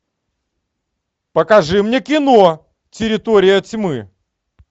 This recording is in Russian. покажи мне кино территория тьмы